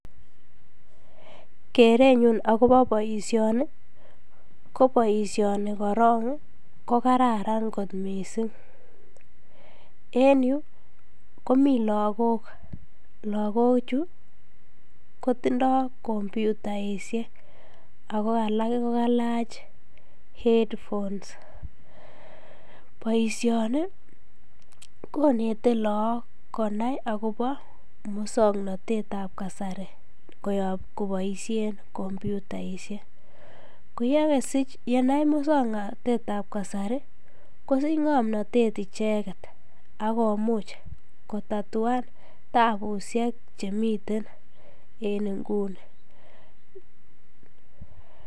Kerenyun akobo boishoni koboishoni korong ko kararan kot mising en yuu komii lokok, lokochu kotindo kompyutaishek ak ko alak ko kalach head phones, boishoni konete look konai akobo muswoknotetab kasari koboishen kompyutaishek, koyesich yenaii muswoknotetab kasari kosich ng'omnotet icheket ak komuch kotatuan tabushek chemiten en inguni.